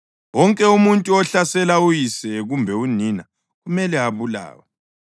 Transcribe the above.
Wonke umuntu ohlasela uyise kumbe unina kumele abulawe.